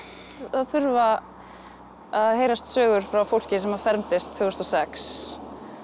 það þurfa að heyrast sögur frá fólki sem fermdist tvö þúsund og sex